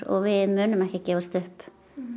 við munum ekki gefast upp